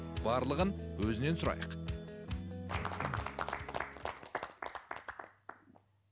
барлығын өзінен сұрайық